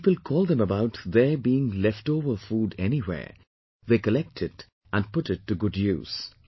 And when people call them about there being leftover food anywhere, they collect it and put it to good use